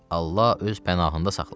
Allah öz pənahında saxlasın.